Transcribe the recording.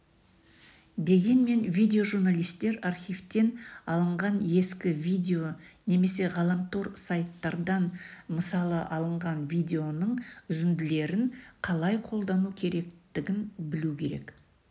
дегенмен видео-журналистер архивтен алынған ескі видео немесе ғаламтор-сайттардан мысалы алынған видеоның үзінділерін қалай қолдану керектігін білуі керек